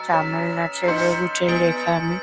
তামিল না তেলেগুতে লেখা আমি--